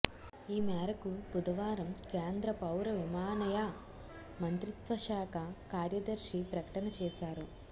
ఈమేరకు బుధవారం కేంద్ర పౌర విమానయా మంత్రిత్వశాఖ కార్యదర్శి ప్రకటన చేశారు